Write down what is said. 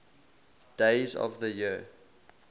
days of the year